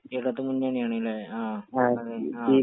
ഇടതുമുന്നണിയാണല്ലേ...ങാ..